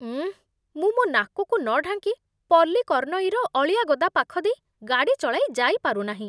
ଉଁ, ମୁଁ ମୋ ନାକକୁ ନ ଢାଙ୍କି ପଲ୍ଲିକର୍ନଇର ଅଳିଆ ଗଦା ପାଖ ଦେଇ ଗାଡ଼ି ଚଳାଇ ଯାଇପାରୁନାହିଁ।